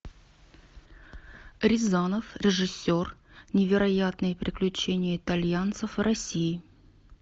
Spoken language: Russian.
рязанов режиссер невероятные приключения итальянцев в россии